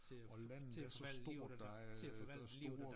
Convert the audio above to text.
Og landet er så stort at der er øh der store